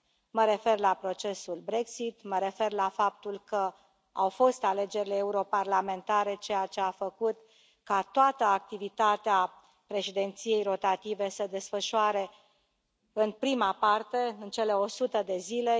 Mă refer la procesul Brexit, mă refer la faptul că au fost alegerile europarlamentare, ceea ce a făcut ca toată activitatea președinției rotative să se desfășoare în prima parte, în cele 100 de zile.